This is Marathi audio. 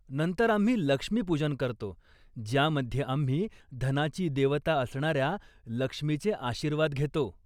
नंतर आम्ही लक्ष्मी पूजन करतो ज्यामध्ये आम्ही धनाची देवता असणाऱ्या लक्ष्मीचे आशीर्वाद घेतो.